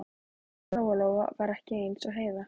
Lóa-Lóa var ekki eins og Heiða